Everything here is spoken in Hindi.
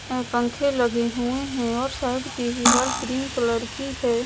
और पंखे लगे हुए हैं और साइड की दीवार क्रीम कलर की हैं।